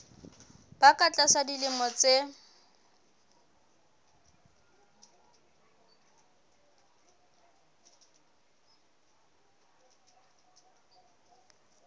ba ka tlasa dilemo tse